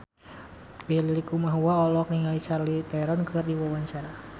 Benny Likumahua olohok ningali Charlize Theron keur diwawancara